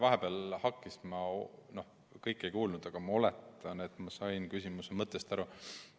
Vahepeal ühendus hakkis, ma kõike ei kuulnud, aga ma oletan, et sain küsimuse mõttest aru.